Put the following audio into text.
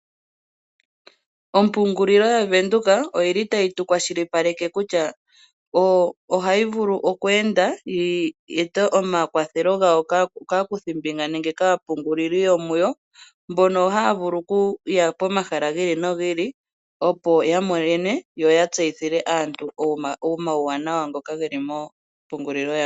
Ompungililo yaVenduka oyili tayi tu kwashilipaleke kutya o hayi vulu oku enda yi ete omakwathelo ga yo kaakuthi mbinga nenge kaapunguli yawo mbono ha ya vulu okuya pomahala gi ili nogi opo yatseyithile aantu omawuwanawa ngoka geli mo mpungulilo yawo.